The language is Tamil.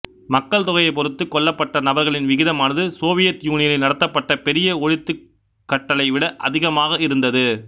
மக்கள் தொகையைப் பொறுத்து கொல்லப்பட்ட நபர்களின் விகிதமானது சோவியத் யூனியனில் நடத்தப்பட்ட பெரிய ஒழித்துக் கட்டலை விட அதிகமாக இருந்தது